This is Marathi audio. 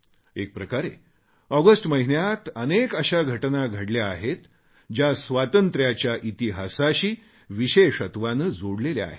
एकप्रकारे ऑगस्ट महिन्यात अनेक अशा घटना घडल्या आहेत ज्या स्वातंत्र्याच्या इतिहासाशी विशेषत्वाने जोडलेल्या आहेत